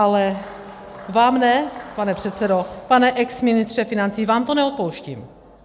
Ale vám ne, pane předsedo, pane exministře financí, vám to neodpouštím.